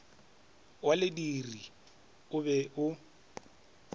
wa lentiri o be o